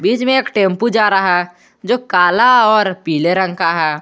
एक टेंपू जा रहा है जो काला और पीले रंग का है।